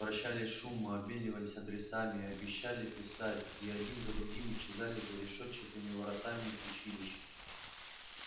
прощались шумно обменивались адресами обещали писать и один за другим исчезали за решетчатыми воротами училища